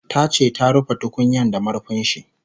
Tace ta rufe tukunyan da marfinshi